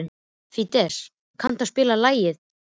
Fídes, kanntu að spila lagið „Fyrir löngu síðan“?